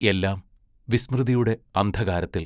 എല്ലാം വിസ്മൃതിയുടെ അന്ധകാരത്തിൽ.....